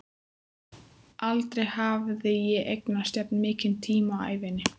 Aldrei hafði ég eignast jafn mikinn tíma á ævinni.